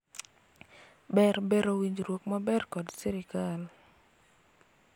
ber bero winjruok maber kod sirikal